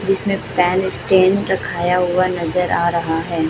जिसमें पहले स्टैंड रखाया हुआ नजर आ रहा है।